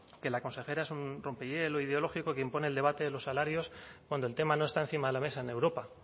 que la consejera es un rompehielo ideológico que impone el debate de los salarios cuando el tema no está encima de la mesa en europa